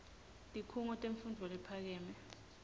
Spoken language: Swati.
tikhungo temfundvo lephakeme